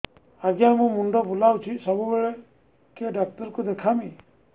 ଆଜ୍ଞା ମୁଣ୍ଡ ବୁଲାଉଛି ସବୁବେଳେ କେ ଡାକ୍ତର କୁ ଦେଖାମି